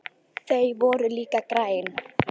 Þau voru líka græn.